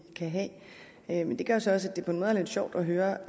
kan have men det gør så også at det på en måde er lidt sjovt at høre